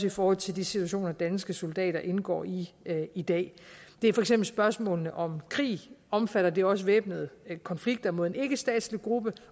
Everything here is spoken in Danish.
i forhold til de situationer danske soldater indgår i i dag det er for eksempel spørgsmålet om krig omfatter det også væbnede konflikter mod en ikkestatslig gruppe